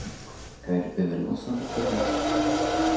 гарри перевернулся на другой бок